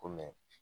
Ko mɛ